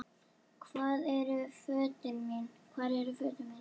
Hvar eru fötin mín?